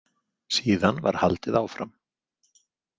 Síðan var haldið áfram.